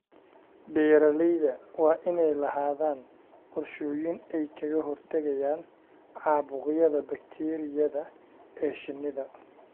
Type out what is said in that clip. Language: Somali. Beeralayda waa inay lahaadaan qorshooyin ay kaga hortagayaan caabuqyada bakteeriyada ee shinnida.